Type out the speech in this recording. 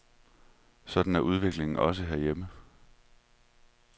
Sådan er udviklingen også herhjemme.